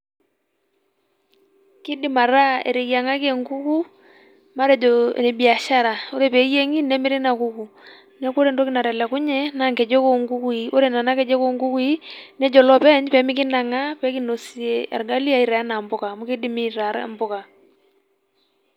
Keidim ataa eteyiang'aki enguku matejoo ebiashara ore pee eyieng'i nemirri Ina kuku neeku ore entoki natelekunye naa ngejek oo ngukuii neeku ore Nena kejek nejo iloopeny peyie meanang'ari pee kinosie orgali aanya aitaa enaa mpuka amu keidimi aitaa impuka.